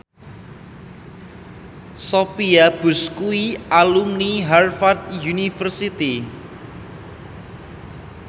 Sophia Bush kuwi alumni Harvard university